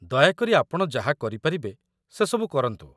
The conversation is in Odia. ଦୟାକରି ଆପଣ ଯାହା କରିପାରିବେ ସେ ସବୁ କରନ୍ତୁ।